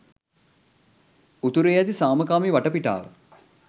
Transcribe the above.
උතුරේ ඇති සාමකාමී වටපිටාව